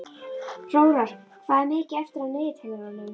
Hróar, hvað er mikið eftir af niðurteljaranum?